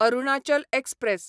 Arunachal express